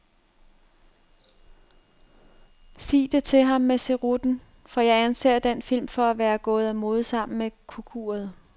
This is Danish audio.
Sig det til ham med cerutten, for jeg anser den film for at være gået af mode sammen med kukuret.